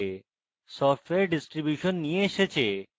software distribution নিয়ে এসেছে